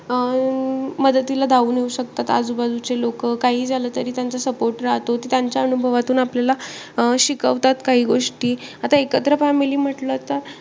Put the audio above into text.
अं मदतीला धावून येऊन शकतात, आजूबाजूचे लोकं. काहीही झालं तरी त्यांचा support राहतो. त्यांच्या अनुभवातून आपल्याला अं शिकवतात आपल्याला गोष्टी. आता एकत्र family म्हंटली तर,